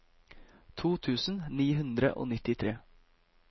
to tusen ni hundre og nittitre